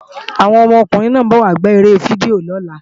Àwọn ọmọkùnrin náà ń bọ̀ wá gbá eré fídíò lọ́la